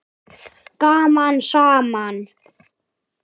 Gaman saman.